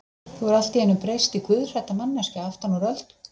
Þú hefur allt í einu breyst í guðhrædda manneskju aftan úr öldum.